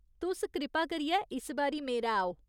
तुस कृपा करियै इस बारी मेरै आओ।